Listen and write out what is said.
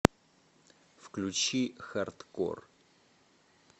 включи хардкор